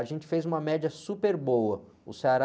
A gente fez uma média super boa, o Ceará...